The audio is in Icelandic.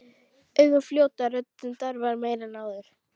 Augun fljóta, röddin drafar meira en áður.